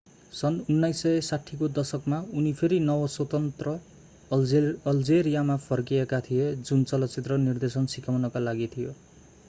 सन् 1960 को दशकमा उनी फेरि नव-स्वतन्त्र अल्जेरियामा फर्किएका थिए जुन चलचित्र निर्देशन सिकाउनका लागि थियो